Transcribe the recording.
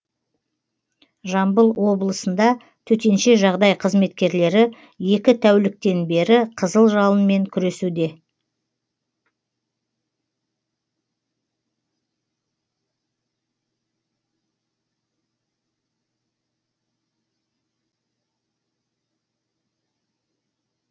жамбыл облысында төтенше жағдай қызметкерлері екі тәуліктен бері қызыл жалынмен күресуде